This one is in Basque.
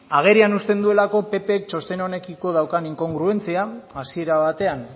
agerian uzten duelako ppk txosten honekiko daukan inkongruentzia hasiera batean